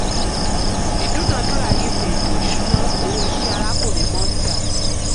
ìdúnàádúràá yípo ètò ìṣúná owó iṣẹ́ arákùnrin mondal.